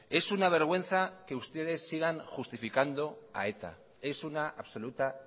es una vergüenza que ustedes sigan justificando a eta es una absoluta